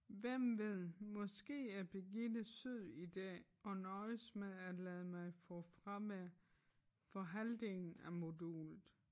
Hvem ved måske er Birgitte sød i dag og nøjes med at lade mig få fravær for halvdelen af modulet